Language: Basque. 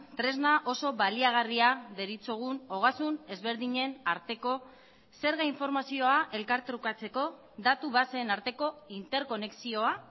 tresna oso baliagarria deritzogun ogasun ezberdinen arteko zerga informazioa elkartrukatzeko datu baseen arteko interkonexioa